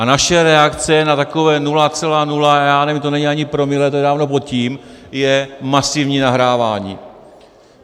A naše reakce na takové 0,0 - já nevím, to není ani promile, to je dávno pod tím - je masivní nahrávání.